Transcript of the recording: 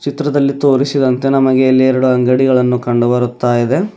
ಚಿತ್ರದಲ್ಲಿ ತೋರಿಸಿದಂತೆ ನಮಗೆ ಇಲ್ಲಿ ಎರಡು ಅಂಗಡಿಗಳನ್ನು ಕಂಡು ಬರುತಾಇದೆ.